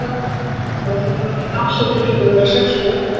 Eftir borðhaldið var svo dansað til klukkan að verða sex um morguninn.